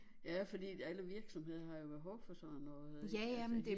Ja fordi at alle virksomheder har jo behov for sådan noget ikke altså